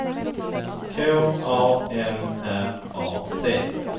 K A M R A T